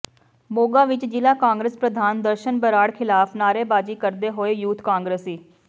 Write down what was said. ਮੋਗਾ ਵਿੱਚ ਜ਼ਿਲ੍ਹਾ ਕਾਂਗਰਸ ਪ੍ਰਧਾਨ ਦਰਸ਼ਨ ਬਰਾੜ ਖ਼ਿਲਾਫ਼ ਨਾਅਰੇਬਾਜ਼ੀ ਕਰਦੇ ਹੋਏ ਯੂਥ ਕਾਂਗਰਸੀ